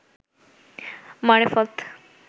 মারেফত